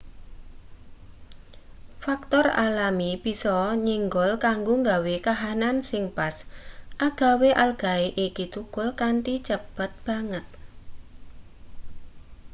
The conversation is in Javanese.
faktor alami bisa nyenggol kanggo gawe kahanan sing pas agawe algae iki thukul kanthi cepet banget